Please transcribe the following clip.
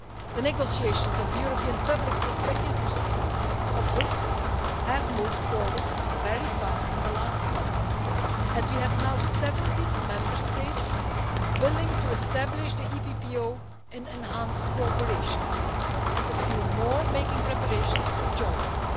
The negotiations of the European Public Prosecutor's Office have moved forward very fast in the last month, and we now have 17 Member States willing to establish the EPPO in enhanced cooperation and a few more making preparations to join it.